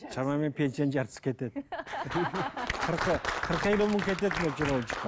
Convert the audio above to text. шамамен пенсияның жартысы кетеді қырық елу мың кетеді мөлшер бойынша